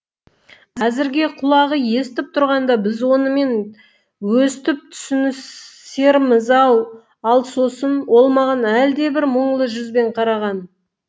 әзірге құлағы естіп тұрғанда біз онымен өстіп түсінісерміз ау ал сосын ол маған әлдебір мұңлы жүзбен қараған